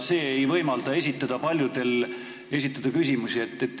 See ei võimalda paljudel soovijatel küsimusi esitada.